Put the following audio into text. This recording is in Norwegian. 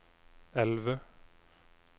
elve